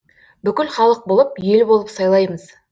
бүкіл халық болып ел болып сайлаймыз